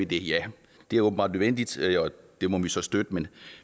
det ja det er åbenbart nødvendigt og det må vi så støtte men